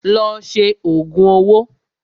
Lọ ṣe òògùn owó!